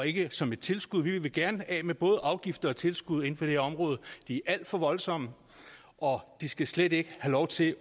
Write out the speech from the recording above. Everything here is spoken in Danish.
ikke som et tilskud vi vil gerne af med både afgifter og tilskud inden for det område de er alt for voldsomme og de skal slet ikke have lov til